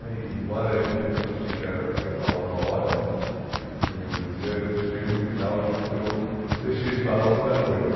né e embora eu no começo achei que era o que eu ia falar uma hora né, no primeiro dia, eu chego no final achando que eu deixei de falar muita coisa.